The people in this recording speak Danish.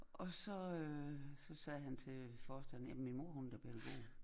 Og så øh så sagde han til forstanderinden min mor er da pædagog